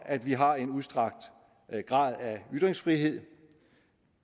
at vi har en udstrakt grad af ytringsfrihed